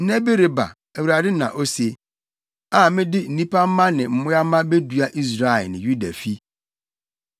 “Nna bi reba,” Awurade na ose, “A mede nnipa mma ne mmoa mma bedua Israel ne Yuda fi.